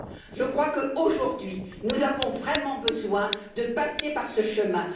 Je crois qu'aujourd'hui, nous avons vraiment besoin de passer par ce chemin.